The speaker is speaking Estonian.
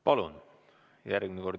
Palun!